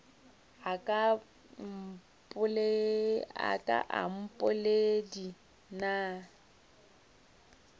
a ka a mpoledi na